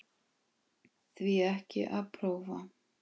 Því ekki að prófa?